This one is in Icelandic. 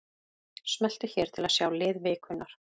Smelltu hér til að sjá lið vikunnar